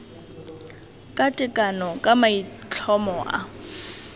ka tekano ka maitlhomo a